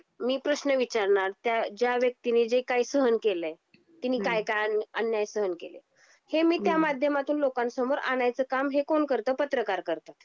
मी प्रश्न विचारनार त्या ज्या व्यक्तीने चे काही सहन केल आहे तिनी काय काय अन्याय सहन केले हे मी त्या माध्यमातून लोकांन समोर आणायच काम हे कोण करत पत्रकार करतात.